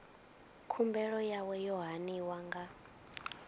khumbelo yawe yo haniwa nga